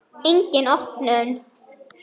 Engin opnun.